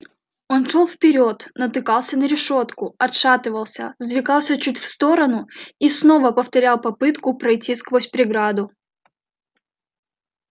он шёл вперёд натыкался на решётку отшатывался сдвигался чуть в сторону и снова повторял попытку пройти сквозь преграду